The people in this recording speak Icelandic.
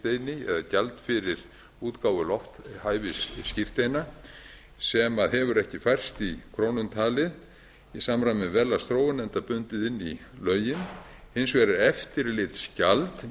lofthæfisskírteina eða gjald fyrir útgáfu lofthæfisskírteina sem hefur ekki færst í krónum talið í samræmi við verðlagsþróun enda bundið inn í lögin hins vegar er eftirlitsgjald